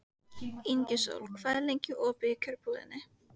Ingisól, hvað er lengi opið í Kjörbúðinni?